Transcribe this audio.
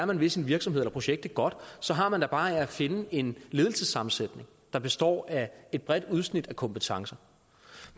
man vil sin virksomhed eller projekt det godt så har man da bare at finde en ledelsessammensætning der består af et bredt udsnit af kompetencer